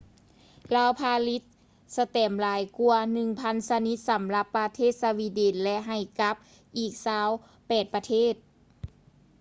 ລາວຜະລິດສະແຕັມຫຼາຍກວ່າ 1,000 ຊະນິດ ສຳລັບປະເທດສະວີເດັນ ແລະ ໃຫ້ກັບອີກ 28 ປະເທດ